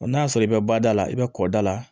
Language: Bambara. n'a y'a sɔrɔ i bɛ ba da la i bɛ kɔda la